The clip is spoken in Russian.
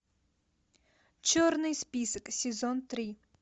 черный список сезон три